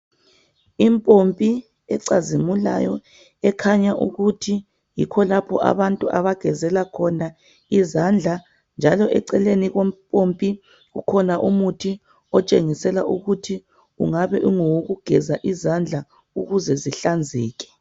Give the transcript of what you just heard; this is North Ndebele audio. Impompi ecazimulayo ekhanya ukuthi yikho lapho abantu abagezela khona izandla, njalo eceleni kompompi kukhona umuthi otshengisela ukuthi ngowokugeza izandla ukuze zihlanzeke.